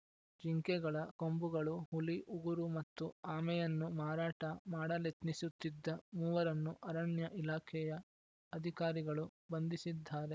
ಜಿಂಕೆಗಳ ಕೊಂಬುಗಳು ಹುಲಿ ಉಗುರು ಮತ್ತು ಆಮೆಯನ್ನು ಮಾರಾಟ ಮಾಡಲೆತ್ನಿಸುತ್ತಿದ್ದ ಮೂವರನ್ನು ಅರಣ್ಯ ಇಲಾಖೆಯ ಅಧಿಕಾರಿಗಳು ಬಂಧಿಸಿದ್ದಾರೆ